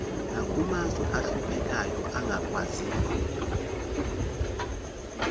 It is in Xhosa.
nakumazwe ahluphekayo angakwaziyo